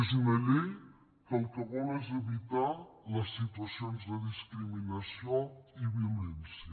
és una llei que el que vol és evitar les situacions de discriminació i violència